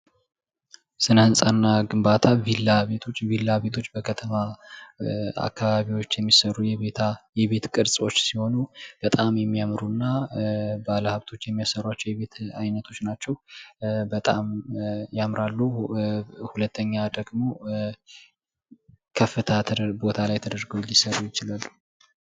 ስነ ህንጻ እና ግንባታ ፡ ቪላ ቤቶች፦ ቪላ ቤቶች በከተማ አካባቢዎች የሚሰሩ የቤት ቅርጾች ሲሆኑ በጣም የሚያምሩ እና ባለሃብቶች የሚያሰሯቸው የቤት አይነቶች ናቸው። በጣም ያምራሉ። ሁለተኛ ደግሞ ከፍታ ቦታ ላይ ተድረገው ሊሰሩ ይችላሉ።